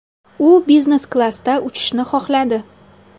U biznes klassda uchishni xohladi.